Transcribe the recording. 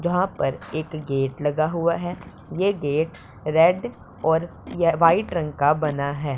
यहां पर एक गेट लगा हुआ है ये गेट रेड और ये व्हाइट रंग का बना है।